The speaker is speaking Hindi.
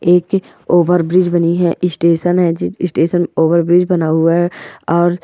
एक ओवरब्रिज बनी है स्टेशन है जिस स्टेशन पर ओवरब्रिज बना हुआ है।